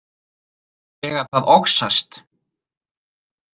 Þegar það oxast.